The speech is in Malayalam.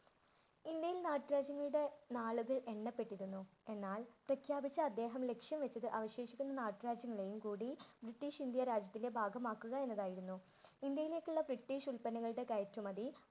ഇന്ത്യയിൽ നാട്ടുരാജ്യങ്ങളുടെ നാളുകൾ എണ്ണപ്പെട്ടിരുന്നു. എന്നാൽ പ്രഖ്യാപിച്ച അദ്ദേഹം ലക്ഷ്യം വച്ചത് അവശേഷിക്കുന്ന നാട്ടുരാജ്യങ്ങളെയും കൂടി ബ്രിട്ടീഷ് ഇന്ത്യ രാജ്യത്തിന്‍റെ ഭാഗമാക്കുക എന്നതായിരുന്നു. ഇന്ത്യയിലേക്കുള്ള ബ്രിട്ടീഷ് ഉല്പന്നങ്ങളുടെ കയറ്റുമതി